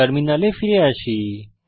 টার্মিনালে ফিরে আসি